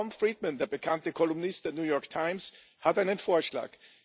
Tom Friedman, der bekannte Kolumnist der New York Times, hat einen Vorschlag.